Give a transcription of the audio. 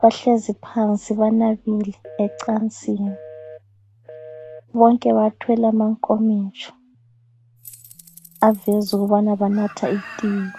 bahlezi phansi banabile ecansini .Bonke bathwele amankomitsho aveza ukubana banatha itiye.